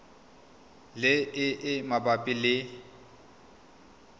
le e e mabapi le